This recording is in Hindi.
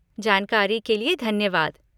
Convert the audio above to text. जानकारी के लिए धन्यवाद।